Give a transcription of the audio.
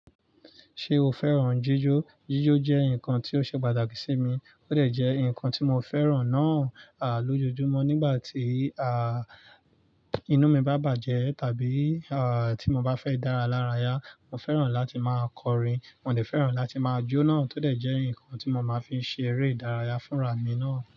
Ṣé o fẹ́ràn jíjó? Jíjó jẹ́ nǹkan tí ó ṣe pàtàkì sí mi, ó dẹ̀ jẹ́ nǹkan tí mo fẹ́ràn náà, lójoojúmọ́ nígbà tí, inú mi bá bàjẹ́ tàbí, tí mo bá fẹ́ dára lára yá, mo fẹ́ràn láti máa kọrin. Mo dẹ̀ fẹ́ràn láti máa jó náà, tó dẹ̀ jẹ́ nǹkan tí mo máa ń fi ṣe eré ìdárayá fúnra mi náà.